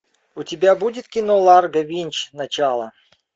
у тебя будет кино ларго винч начало